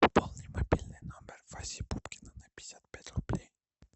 пополни мобильный номер васи пупкина на пятьдесят пять рублей